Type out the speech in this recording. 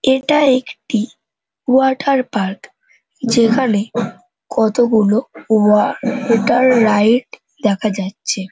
এটা একটি water park যেখানে কতোগুলো ওয়া-টার রাইড দেখা যাচ্ছে।